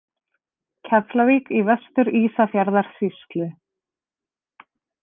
Keflavík í Vestur-Ísafjarðarsýslu.